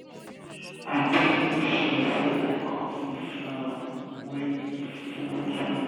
i dey make sure sey i cut di flower wen e full too much